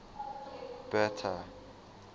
bertha